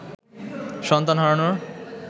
সন্তান হারানোর